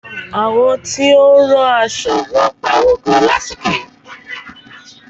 Àwọn tí ó ń rán aṣo ń pa owo gan lásìkò yìí.